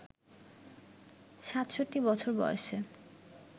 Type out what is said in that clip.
৬৭ বছর বয়সে